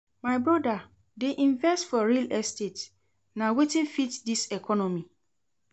My broda dey invest for real estate, na wetin fit dis economy.